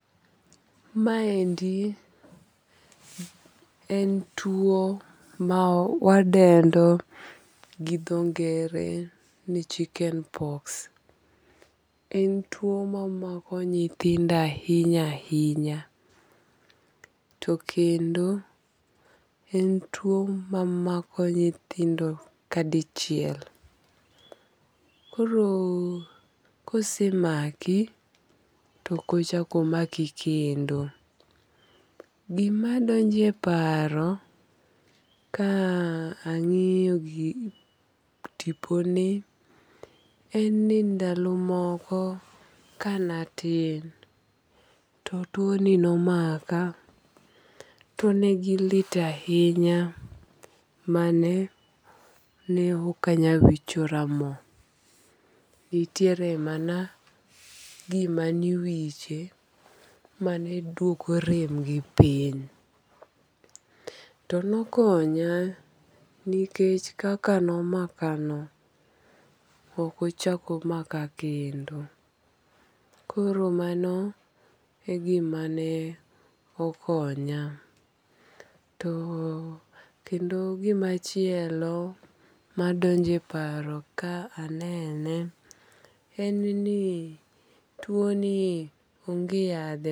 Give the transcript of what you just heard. Maendi en tuo ma wadendo gi dho ngere ni chicken pox. En tuo mamako nyithindo ahinya ahinya. To kendo en tuo mamako nyithindo kadichiel. Koro kosemaki to ok ochak omaki kendo. Goma donjo e paro ka ang'iyo tiponi en ni ndalo moko kanatim to tuo ni nomaka. To negilit ahinya ma ne ok onyal wichara mo. Nitiere mana gima niwiche mane duoko rem gi piny. To nokonya nikech kaka nomaka no ok ochak omaka knedo. Koro mano e gima ne okonya. To kendo gimachielo madonje paro ka anene en ni tuo nie onge yadhe.